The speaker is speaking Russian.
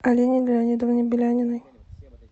алине леонидовне беляниной